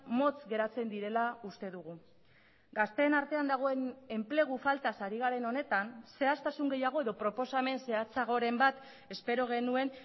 motz geratzen direla uste dugu gazteen artean dagoen enplegu faltaz ari garen honetan zehaztasun gehiago edo proposamen zehatzagoren bat espero genuen